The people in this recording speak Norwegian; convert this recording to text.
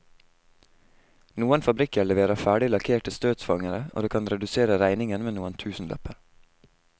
Noen fabrikker leverer ferdig lakkerte støtfangere, og det kan redusere regningen med noen tusenlapper.